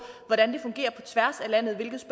hvordan det fungerer på tværs af landet hvilket